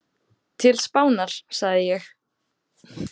Til Spánar, sagði ég.